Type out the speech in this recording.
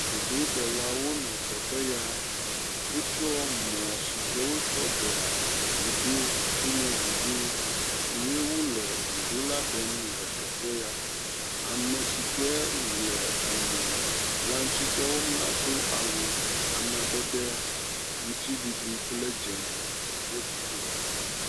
Vudoɖelawo nɔ teƒe ya, wotsɔ mɔ si ke wotsɔ ɖea vudo, tome vudo. Ye wole vudo la ɖem le teƒe ya, ame si ke le emɔ la ŋutidɔ wɔm la do awu amadede aŋutiɖiɖi kple dze le dziƒo.